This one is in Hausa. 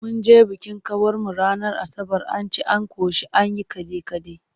Mun je bikin kawarmu ranar Asabar, an ci an ƙoshi an yi kaɗe-kaɗe.